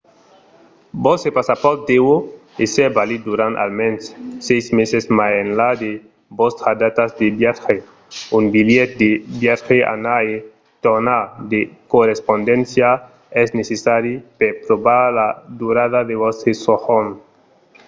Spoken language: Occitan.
vòstre passapòrt deu èsser valid durant almens 6 meses mai enlà de vòstras datas de viatge. un bilhet de viatge anar e tornar/de correspondéncia es necessari per provar la durada de vòstre sojorn